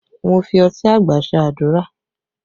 Mo fi ọtí àgbà ṣe àdúrà